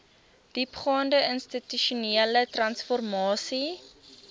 diepgaande institusionele transformasie